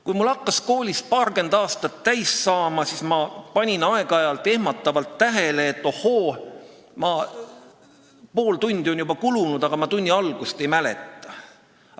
Kui mul hakkas koolis paarkümmend aastat täis saama, siis ma panin aeg-ajalt ehmatavalt tähele, et ohoo, pool tundi on juba kulunud, aga ma tunni algust ei mäleta.